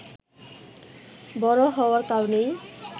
বড় হওয়ার কারণেই